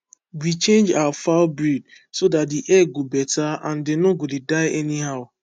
we change our fowl breed so that the egg go better and dem no go dey die anyhow